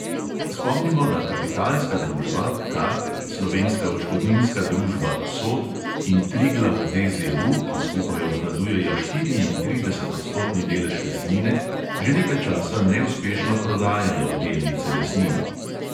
Spomnimo, da kapitalska družba slovenska odškodninska družba in triglav DZU, ki skupaj obvladujejo štiriintridesetodstotni delež lesnine, že nekaj časa neuspešno prodajajo delnice lesnine.